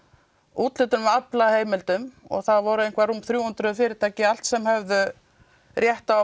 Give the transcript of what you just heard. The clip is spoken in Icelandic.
úthlutun aflaheimildum og það voru þrjú hundruð fyrirtæki allt sem höfðu rétt á